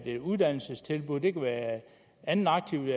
et uddannelsestilbud det kan være et andet aktivt